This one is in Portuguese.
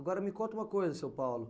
Agora me conta uma coisa, seu Paulo.